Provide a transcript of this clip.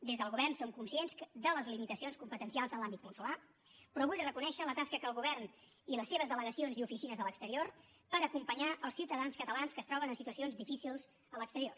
des del govern som conscients de les limitacions competencials en l’àmbit consolar però vull reconèixer la tasca que el govern i les seves delegacions i oficines a l’exterior fan per acompanyar els ciutadans catalans que es troben en situacions difícils a l’exterior